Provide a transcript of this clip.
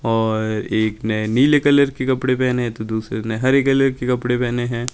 और एक ने नीले कलर के कपड़े पहने हैं तो दूसरे ने हरे कलर के कपड़े पहने हैं।